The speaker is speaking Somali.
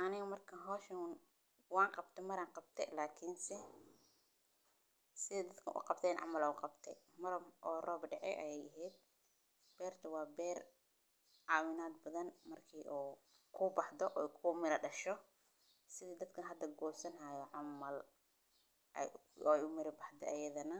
Aanay markaan hooshahoodan waan qabti mar aan qabtay, laakiinse sidadkan u qabteen cunugga qabtay maram oo roob dhexe ayay iheed. Beerta waa beer caawinaad badan markii uu kuu baxdo iku meela dasho. Sidii dadka hadda goosan hayo cunugga ayuu miri bahdheeyadan.